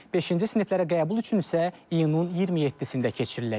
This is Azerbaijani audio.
Beşinci siniflərə qəbul üçün isə iyunun 27-sində keçiriləcək.